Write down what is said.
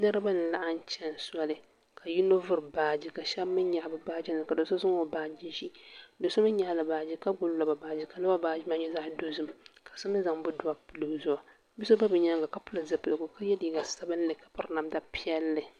Niriba n laɣim chɛni soli ka yino vuri baaji ka shɛba mi yaɣi baaji nima ka so zaŋ o baaji zi do so mi yɛɣi la baaji ka gbubi lɔba baaji ka lɔba baaji maa nyɛ zaɣi dozim ka so mi zaŋ bodua pili o zuɣu bia so bɛ bi yɛanga ka pili zupiligu ka ye liiga sabinli ka piri namda piɛlli.